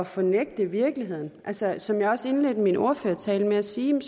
fornægte virkeligheden altså som jeg også indledte min ordførertale med at sige er